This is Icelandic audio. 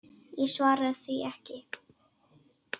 Ég svara því ekki.